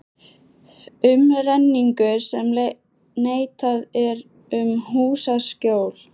Umrenningur sem neitað er um húsaskjól.